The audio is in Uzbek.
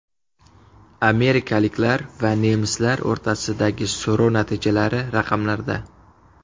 Amerikaliklar va nemislar o‘rtasidagi so‘rov natijalari raqamlarda.